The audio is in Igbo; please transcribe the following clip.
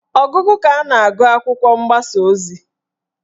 Ọgụgụ ka a na-agụ akwụkwọ mgbasa ozi